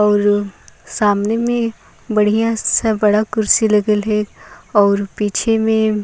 और सामने में बढ़िया सा बड़ा कुर्सी लगल अहाय और पीछे में --